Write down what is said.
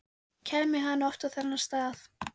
Kæmi hann oft á þennan stað?